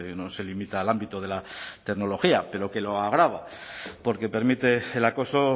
no se limita al ámbito de la tecnología pero que lo agrava porque permite el acoso